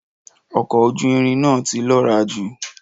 Ọkọ ojú irin na ti lọra jù